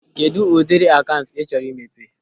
Kedụ ụdịrị akaụntụ ị chọrọ imepe?